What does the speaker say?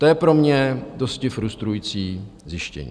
To je pro mě dosti frustrující zjištění.